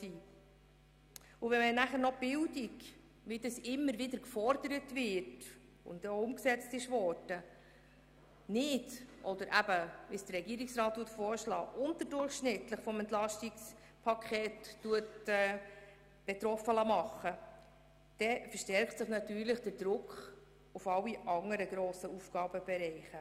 Wenn man nachher noch die Bildung, wie das immer wieder gefordert und auch umgesetzt wurde, unterdurchschnittlich belastet, verstärkt sich natürlich der Druck auf alle anderen grossen Aufgabenbereiche.